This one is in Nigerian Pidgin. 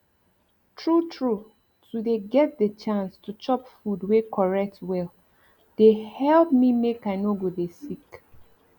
true true to dey get de chance to chop food wey correct well dey help me make i nor go dey sick